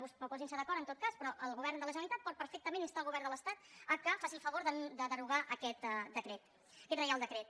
o posin·se d’acord en tot cas però el govern de la generalitat pot perfectament instar el govern de l’estat que faci el favor de derogar aquest decret aquest reial decret